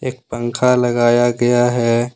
एक पंखा लगाया गया है।